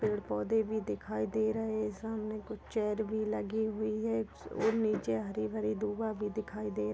पेड़ पौधे भी दिखाई दे रहे है सामने कुछ चेयर भी लगे हुए है और नीचे हरी भरी दुआ भी दिखाई दे--